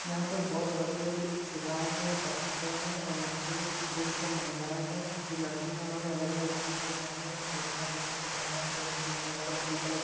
यहाँ पर बहोत बड़े-बड़े शिलाएं हैं पत्थरें हैं और यहाँ पे पुरुष व महिलायें हैं। जो लड़के हैं उन्होंने अलग-अलग रंग के कपड़े पहने हैं। एक लड़का है जिसने बनियान पहनी है ब्लैक और ब्लू कलर --